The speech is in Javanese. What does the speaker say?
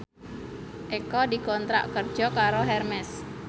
Eko dikontrak kerja karo Hermes